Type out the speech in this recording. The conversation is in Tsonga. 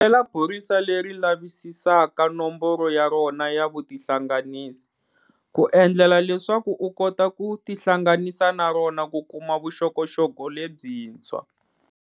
Kombela phorisa leri lavisisaka nomboro ya rona ya vutihlanganisi, ku endlela leswaku u kota ku tihlanganisa na rona ku kuma vuxokoxoko lebyintshwa.